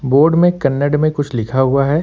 Board में कन्नड़ में कुछ लिखा हुआ है।